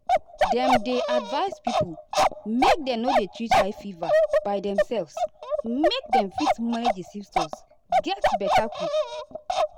dem dey advise pipo make dem no dey treat high fever by demselves make dem fit manage di symptoms get beta quick.